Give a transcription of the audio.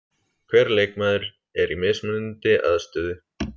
Hver leikmaður er í mismunandi aðstöðu.